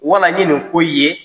Wala n ye ni ko ye